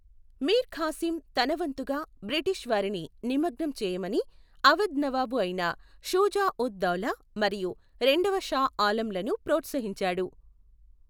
మీర్ ఖాసిం తన వంతుగా బ్రిటీష్ వారిని నిమగ్నం చేయమని అవధ్ నవాబు అయిన షుజా ఉద్ దౌలా, మరియు రెండవ షా ఆలంలను ప్రోత్సహించాడు.